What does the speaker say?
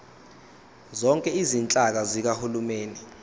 zonke izinhlaka zikahulumeni